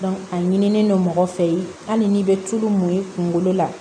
a ɲinilen don mɔgɔ fɛ yen hali n'i bɛ tulu mun i kunkolo la